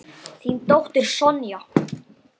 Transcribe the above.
Þín dóttir, Sonja.